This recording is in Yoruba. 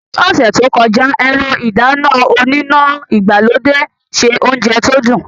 Ní ọ̀sẹ̀ tó kọjá, ẹ̀rọ ìdáná oníná ìgbàlódé se oúnjẹ tó dùn.